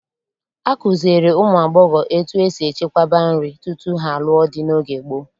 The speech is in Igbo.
Akụziere ụmụ agbọghọ etu esi echekwaba nri tutu ha lụọ di n'oge gboo.